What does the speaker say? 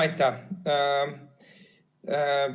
Aitäh!